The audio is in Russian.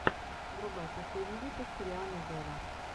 врубай последний выпуск рианны вево